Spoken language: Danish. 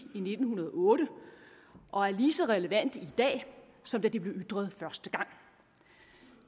i nitten hundrede og otte og er lige så relevante i dag som da de blev ytret første gang